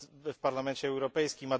w Parlamencie Europejskim